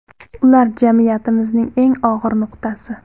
Ular jamiyatimizning eng og‘ir nuqtasi.